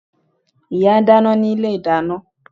Ìyá ń dáná ní ilé-ìdáná